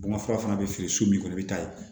Bamasira fana bɛ feere so min kɔni i bɛ taa ye